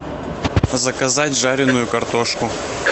заказать жареную картошку